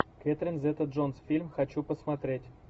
кэтрин зета джонс фильм хочу посмотреть